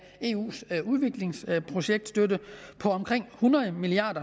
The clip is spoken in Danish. eus udviklingsprojektstøtte på omkring hundrede milliard